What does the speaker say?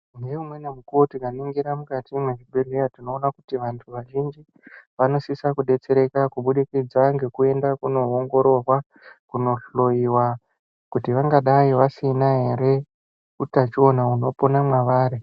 Neumweni mukuwo tikaningira mukati mwezvibhedhlera tinoona kuti vantu vazhinji vanosisa kudetsereka kubudikidza ngekuende koongororwa kundohloiwa kuti vangadai vasina here utachiona unopona mavari.